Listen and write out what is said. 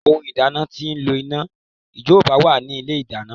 Ohun ìdáná tí ó ńlo iná ìjọba wà ní ilé ìdáná.